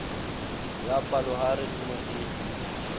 ya palohare e ne e